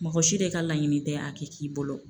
Mɔgɔ si de ka laɲini tɛ a kɛ k'i bolo.